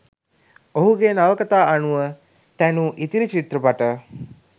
ඔහුගේ නවකතා අනුව තැනූ ඉතිරි චිත්‍රපට